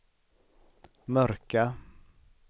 mörka